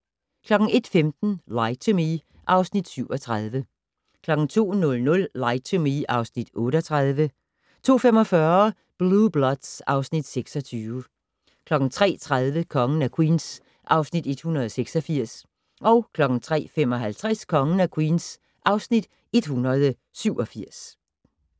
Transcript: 01:15: Lie to Me (Afs. 37) 02:00: Lie to Me (Afs. 38) 02:45: Blue Bloods (Afs. 26) 03:30: Kongen af Queens (Afs. 186) 03:55: Kongen af Queens (Afs. 187)